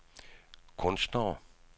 kunstnere